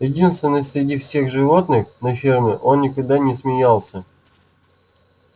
единственный среди всех животных на ферме он никогда не смеялся